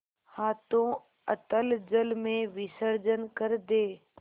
हाथों अतल जल में विसर्जन कर दे